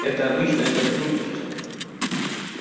это обычное сотрудничество